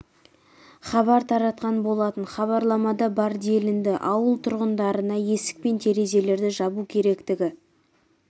хабар таратқан болатын хабарламада бар делінді ауыл тұрғындарына есік пен терезелерді жабу керектігі